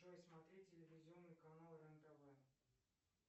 джой смотреть телевизионный канал рен тв